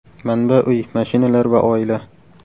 Manba Uy, mashinalar va oila.